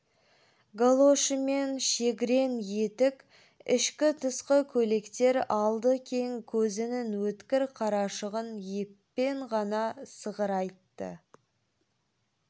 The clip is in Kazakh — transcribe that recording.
галошымен шегрен етік ішкі-тысқы көйлектер алды кең көзінің өткір қарашығын еппен ғана сығырайтты